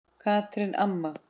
Katrín amma.